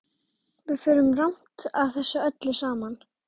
Við förum rangt að þessu öllu saman.